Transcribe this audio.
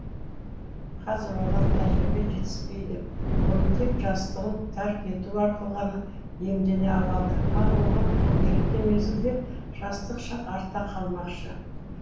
қазір оған тәжірибе жетіспейді оны тек жастығын тәрк ету арқылы ғана иемдене алады ал оған қолы жеткен мезгілде жастық шақ артта қалмақшы